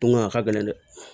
Bon a ka gɛlɛn dɛ